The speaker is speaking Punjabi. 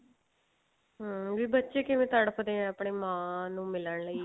ਹਾਂ ਵੀ ਬੱਚੇ ਕਿਵੇਂ ਤੜਫਦੇ ਆ ਆਪਣੇ ਮਾਂ ਨੂੰ ਮਿਲਣ ਲਈ